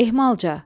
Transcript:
Ehmalca.